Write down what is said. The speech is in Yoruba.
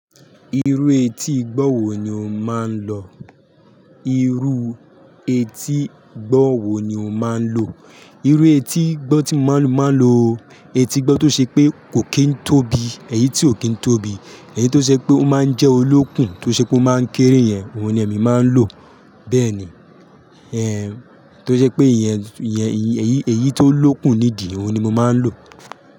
Irú etí igbó wo ni o máa ń lo? Irú etí igbó wo ni o máa ń lo? Irú etí igbó tí mo máa ń lo, etí igbó tó ṣe pé kò kí ń tóbi, èyí tí ò kí ń tóbi, èyí tó ṣe pé ó máa ń jẹ́ olókùn, tó ṣe pé ó máa ń kéré yẹn, òun ni èmi máa ń lò. Bẹ́ẹ̀ ni, tó je pé ìyẹn, èyí tó lókùn nídi, òun ni mo máa ń lò.